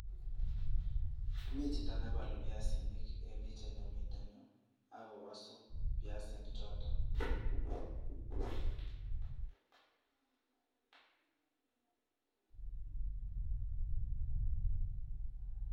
Mi chito neboolu biasinik en pichaini miten yuh, akowosuu biasinik choton